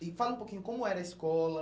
E fala um pouquinho, como era a escola?